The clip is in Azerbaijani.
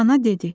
Ana dedi.